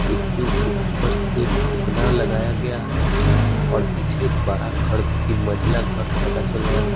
इसके ऊपर से फुकना लगाया गया है और पीछे एक बड़ा घर तीन मंजला घर पता चल रहा है।